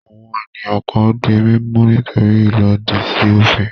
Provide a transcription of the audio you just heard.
Àwọn ènìyàn kan di mímú nítorí ìlòdì sí òfin.